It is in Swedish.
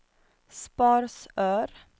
Sparsör